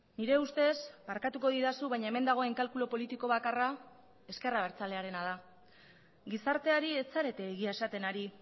nire ustez barkatuko didazu baina hemen dagoen kalkulu politiko bakarra ezker abertzalearena da gizarteari ez zarete egia esaten ari